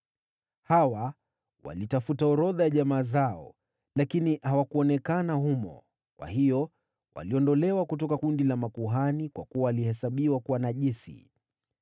Hawa walitafuta orodha za jamaa zao, lakini hawakuonekana humo, kwa hiyo waliondolewa kutoka kundi la makuhani kwa kuwa walihesabiwa kuwa najisi.